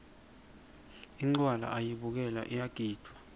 incwala ayibukelwa iyagidvwa